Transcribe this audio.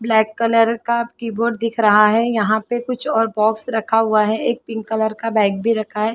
Black colour का keyboard दिख रहा है यहाँ पे कुछ और बॉक्स रखा हुआ है एक पिंक कलर का बैग भी रखा है।